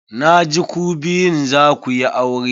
Na ji ku biyun za ku yi aure.